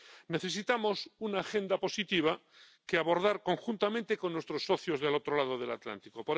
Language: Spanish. Necesitamos una agenda positiva que abordar conjuntamente con nuestros socios del otro lado del Atlántico.